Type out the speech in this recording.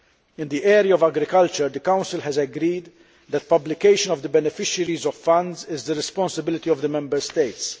In the area of agriculture the Council has agreed that publication of the beneficiaries of funds is the responsibility of the Member States.